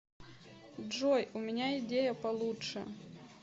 джой у меня идея получше